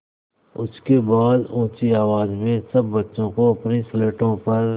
उसके बाद ऊँची आवाज़ में सब बच्चों को अपनी स्लेटों पर